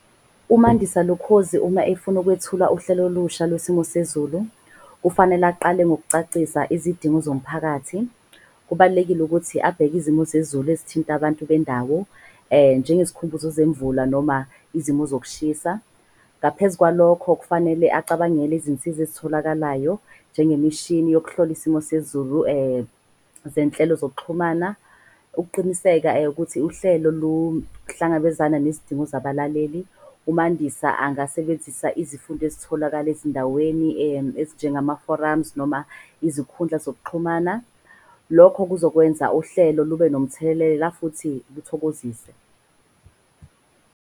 UMandisa Lukhozi uma efuna ukwethula uhlelo olusha lwesimo sezulu. Kufanele aqale ngokucacisa izidingo zomphakathi. Kubalulekile ukuthi abheke izimo zezulu ezithinta abantu bendawo njengezikhumbuzo zemvula noma izimo zokushisa. Ngaphezu kwalokho kufanele acabangele izinsiza ezitholakalayo njengemishini yokuhlola isimo sezulu, znhlelo zokuxhumana ukuqiniseka ukuthi uhlelo luhlangabezana nezidingo zabalaleli. UMandisa angasebenzisa izifundo ezitholakala ezindaweni ezinjengama-forums noma izikhundla zokuxhumana. Lokho kuzokwenza uhlelo lube nomthelela futhi luthokozise.